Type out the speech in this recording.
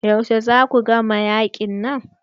Yaushe za ku gama yaƙin nan?